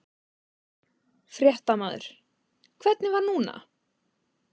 Fréttamaður: Hvernig var núna?